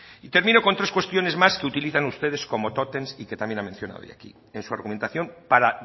y termino con tres cuestiones más que utilizan ustedes como tótems y que también ha mencionado aquí en su argumentación para